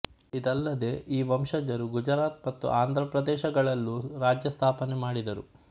ಇದಲ್ಲದೆ ಈ ವಂಶಜರು ಗುಜರಾತ್ ಮತ್ತು ಆಂಧ್ರಪ್ರದೇಶಗಳಲ್ಲೂ ರಾಜ್ಯ ಸ್ಥಾಪನೆ ಮಾಡಿದರು